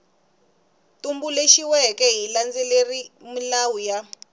tumbuluxiweke xi landzelerile milawu ya